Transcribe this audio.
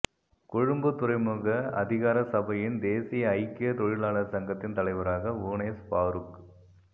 கொழும்பு துறைமுக அதிகார சபையின் தேசிய ஐக்கிய தொழிலாளர் சங்கத்தின் தலைவராக ஹூனைஸ் பாருக்